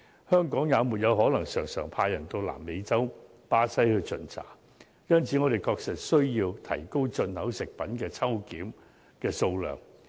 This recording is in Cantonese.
香港也不可能經常派人往南美洲巴西巡查，因此我們確實需要提高進口食品的抽檢數量。